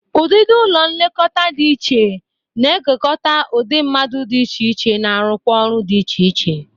Ụdịdị ụlọ nlekọta dị iche na-ekekọta udị mmadụ dị iche iche na-arụkwa ọrụ dị iche iche